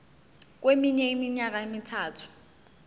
kweminye iminyaka emithathu